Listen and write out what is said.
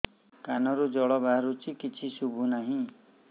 କାନରୁ ଜଳ ବାହାରୁଛି କିଛି ଶୁଭୁ ନାହିଁ